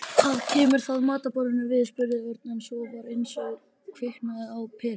Hvað kemur það matarboðinu við? spurði Örn en svo var eins og kviknaði á peru.